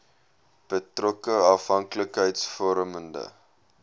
betrokke afhanklikheids vormende